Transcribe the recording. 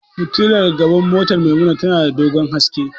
Fitilar gaban motar Maimuna tana da dogon haske.